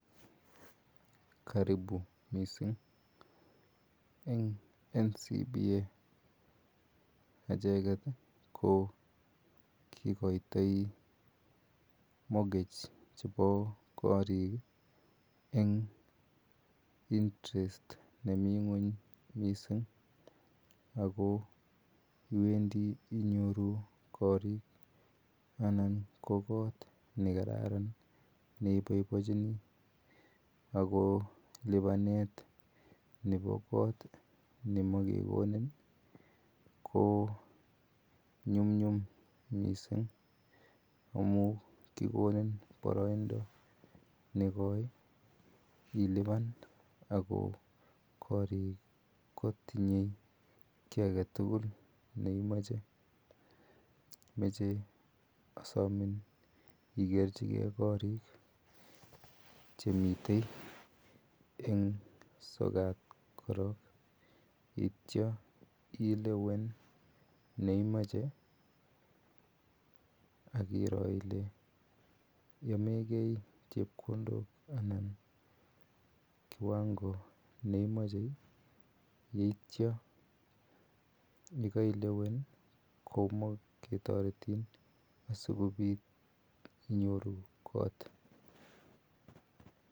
karibu missing en commercial Bank of Africa echeket kikoitai mogage chebo korik en interest nemii ng'uany missing ako iwendii inyoru korik anan ko kot nekararan neiboibochi ako libanet nebo kotnemagekonin ih ko nyumnyum missing amuun kikonin baraindo nekoi iluban ako korik kotinye kiagetugul neimache. Asamin ikerchike korik chemiten en soet koron yaitia ilewen neimache akiroo elekait chebkondok anan kiwango neimache ih yaitia nekelewen kotaretin asinyoru kot .